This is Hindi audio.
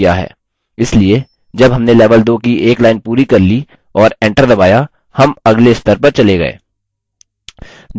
इसलिए जब हमने level 2 की एक line पूरी कर ली और enter दबाया हम अगले स्तर पर चले गये